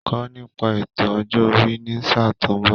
Kọ́ nípa ètò ọjọ́ orí ní sáà tó ń bọ̀